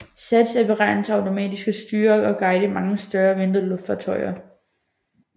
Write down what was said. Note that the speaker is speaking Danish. SATS er beregnet til automatisk at styre og guide mange større og mindre luftfartøjer